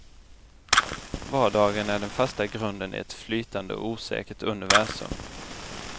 Vardagen är den fasta grunden i ett flytande och osäkert universum.